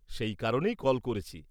সেই কারণেই কল করেছি।